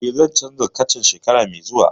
Eh, zan canza kacan shekara mai zuwa